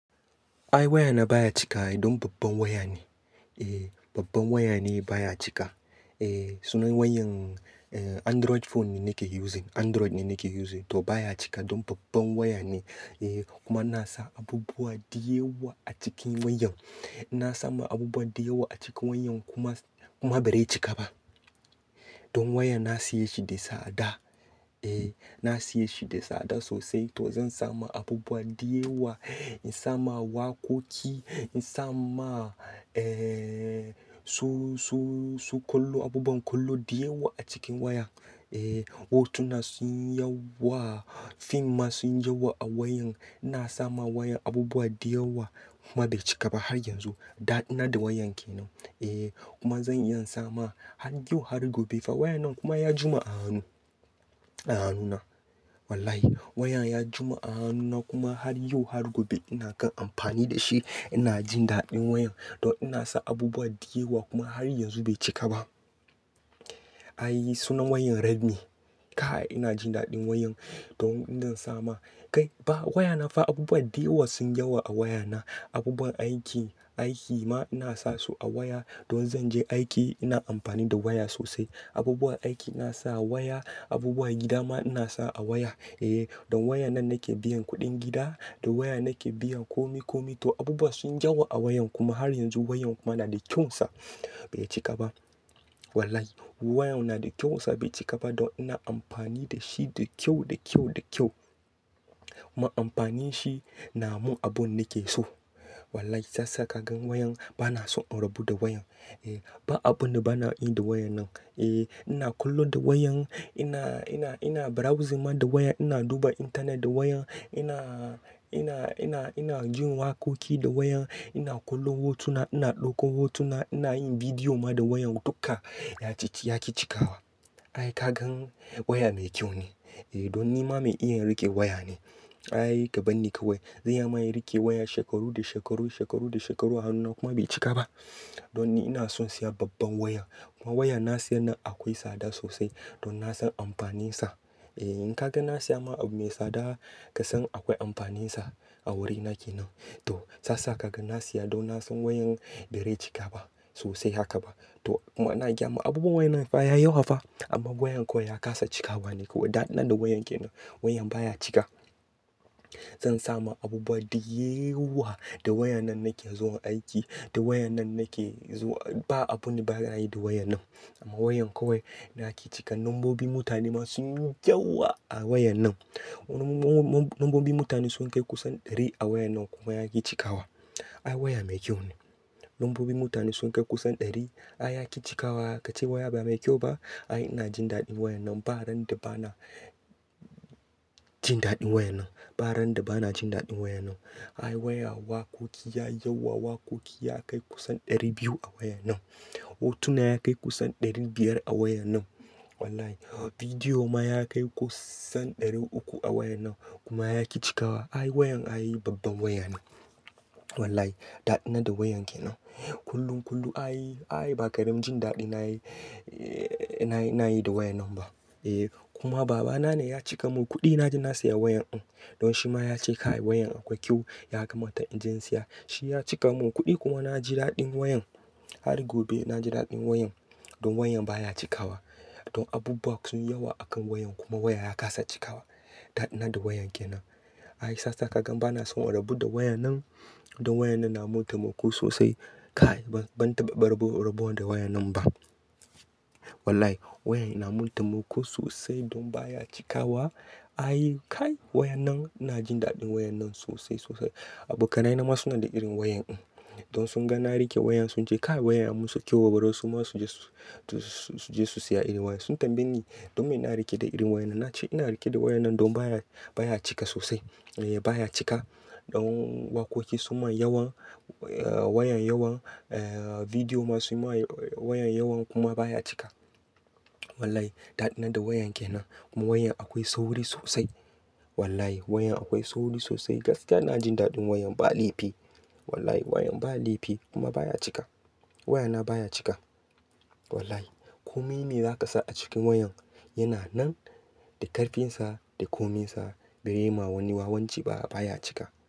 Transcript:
Ai waya na baya cika, don babban waya ne. Ehh babban waya ne baya cika. Ehh sunan wayan eh, Android phone ne nake using. Android ne nake using to baya cika don babban waya ne. Ehh kuma na sa abubuwa diyawa a cikin wayan. Na sama abubuwa diyawa a cikin wayan kuma, kuma ba rai cika ba. Don wayan na siya shi da sada. Eh na siya shi da sada sosai, to zan sama abubuwa diyawa. In sama wakoki, in sama eh, su--su--su kallo abubuwan kallo diyawa a cikin wayan. Eh hotuna sun yi yawa, film ma sun yi yawa a wayan. Na sama wayan abubuwa diyawa kuma bai cika ba har yanzu. Dadi na da wayan kenan. Eh kuma zan iya in sama har yau har gobe. Fa wayan nan kuma ya jima a hannu, a hannuna. Wallahi wayan ya jima a hannuna kuma har yau har gobe ina kan amfani da shi. Ina jin daɗin wayan to ina sa abubuwa diyawa kuma har yanzu bai cika ba. An yi sunan wayan Redmi. Kai ina jin daɗin wayan don indan sama Kai ba waya na fa abubuwa diyawa sun yawa a waya na. Abubuwan aiki, aiki ma ina sa su a waya. Don zan je aiki ina amfani da waya sosai. Abubuwa aiki na sa a waya, abubuwa gida ma ina sa a waya. Eh don waya nan nake biyan kuɗin gida, da waya nake biyan komi-komi, toh abubuwa sun yi yawa a wayan kuma, har yanzu wayan kuma nada kyaunsa. Bai cika ba. Wallahi wayan nada kyaunsa bai cika ba don ina amfani da shi da kyau, da kyau, da kyau. Ma amfani shi namun abu ne ke so. Wallahi si ya sa ka gan wayan, bana son in rabo da wayan. Eh ba abu da bana yi da wayan nan. Eh ina kallo da wayan, ina, ina, ina browsing ma da wayan, ina duba internet da wayan, ina, ina, ina, ina jin wakoki da wayan, ina kallon hotuna, ina ɗaukon hotuna, ina yin vidiyo ma da wayan duka. Ya ciki, ya ki chikawa. Ai ka gan waya mai kyau ne. Eh don nima mai iya rike waya ne. Ai ka barni kawai. Za in ma iya rike waya shekaru da shekaru, shekaru da shekaru a hannuna kuma bai cika ba. Don ni ina son siya babban waya. Kuma wayan na siya nan akwai tsada sosai don na san amfanin sa. E in ka gan na siya ma abu mai tsada ka san akwai amfanin sa a wuri nake nan. To shi yasa kagan na siya don na san wayan ba zai cika ba sosai haka ba. To kuma na gaya ma abubuwa wayan nan fa ya yawa fa amma wayan kawai na kasa cikawa ne kawai. Dadi na da wayan kenan. Wayan baya cika. Zan sama abubuwa diyawa. Da wayan nan nake zuwa aiki, da wayan nan nake zuwa. Ba abu ne bana yi da wayan nan. Amma wayan kawai nake cika. Lambobin mutane ma sunyi yawa a wayan nan. Lambo, lambobi mutane sun kai kusan ɗari a wayan nan kuma ya ki cikawa. Ai waya mai kyau ne. Lambobi mutane sun kai kusan ɗari. Ai ya ki cikawa. Ka ce waya ba mai kyau ba? Ai ina jin daɗin wayan nan. Ba ran da bana jin daɗin wayan nan. Ba ran da bana jin daɗin wayan nan. Ai waya wakoki ya yawa. Wakoki ya kai kusan ɗari biyu a wayan nan. Hotuna ya kai kusan ɗari biyar a wayan nan. Wallahi bidiyo ma ya kai kusan ɗari uku a wayan nan kuma ya ki cikawa. Ai wayan ayi babban waya ne. Wallahi da nada wayan kenan. Kullum, kullum ai, ai ba karamin jin daɗi nayi, nayi, nayi da wayan nan ba. E kuma baba na ne ya cika mun kuɗi na je na siya wayan in. Don shi ma ya ce kai wayan akwai kyau, ya kamata in je in siya. Shi ya cika mun kuɗi kuma na ji daɗin wayan. Har gobe na ji daɗin wayan. Don wayan baya cikawa. Don abubuwa sun yawa a kan wayan kuma wayan ya kasa cikawa. Da nada wayan kenan. Ai sa saka gan bana son rabo da wayan nan. Don wayan nan na mun taimako sosai. Kai ban, ban taɓa rabo, rabo da wayan nan ba. Wallahi wayan yana muntaimako sosai don baya cikawa. Ai kai wayan nan ina jin daɗin wayan nan sosai, sosai. Abokanai na ma suna da irin wayan in. Don sun ga na rike wayan sun ce kai wayan ya musu kyau bari su ma su je, su je su siya irin wayan. Sun tambaye ni don me na rike da irin wayannan na ce ina rike da wayan nan don baya, baya cika sosai. E baya cika. Don wakoki sun ma yawan, wayan yawan, e bidiyo ma sun ma wayan yawan kuma baya cika. Wallahi dadi na da wayan kenan kuma wayan akwai sauri sosai. Wallahi wayan akwai sauri sosai. Gaskiya na jin daɗin wayan ba laifi. Wallahi wayan ba laifi kuma baya cika. Waya na baya cika. Wallahi komi me zaka sa a cikin wayan, yana nan da karfin sa, da komin sa dai ma wani wawanci ba, baya cika.